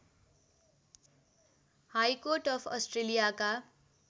high court of अस्ट्रेलियाका